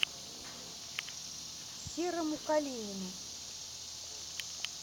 серому калинину